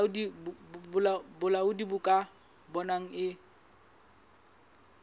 bolaodi bo ka bonang e